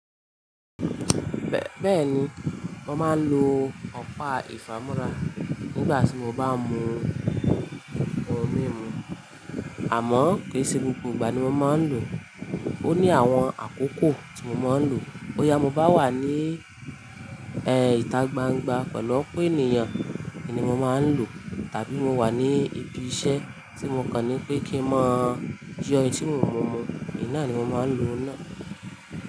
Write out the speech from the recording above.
Bẹ́ẹ̀ni, mo máa ń lo ọ̀pá ìfámú́ra nígbà tí mo bá mú ohun mímu. Àmọ́ kì í ṣe gbogbo ìgbà ni mo máa ń lò ó. Ó ní àwọn àkókò tí mo máa ń lò ó. Ó yá mo bá wà ní ẹ́ ìta gbangba pẹ̀lú ọ̀pọ̀ ènìyàn ni mo máa ń lò ó. Tàbí mo wà ní ibi iṣẹ́ tí mo kà ní pé kí n má jú ọ̀hún tí mo mú mu, ní náà ni mo máa ń lo náà.